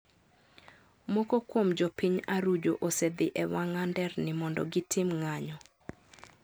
Moko kuom jo piny Arujo osedhi e wang'a nderni mondo gitim ng'anyo